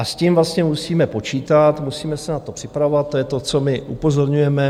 A s tím musíme počítat, musíme se na to připravovat, to je to, co my upozorňujeme.